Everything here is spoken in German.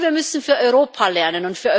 Und wir müssen für Europa lernen.